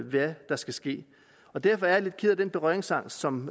hvad der skal ske derfor er jeg lidt ked af den berøringsangst som